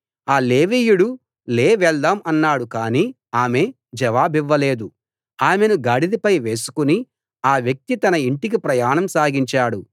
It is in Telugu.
ఆ లేవీయుడు లే వెళ్దాం అన్నాడు కానీ ఆమె జవాబివ్వలేదు ఆమెను గాడిదపై వేసుకుని ఆ వ్యక్తి తన ఇంటికి ప్రయాణం సాగించాడు